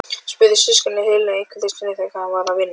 spurðu systkinin Helenu einhverju sinni þegar hann var að vinna.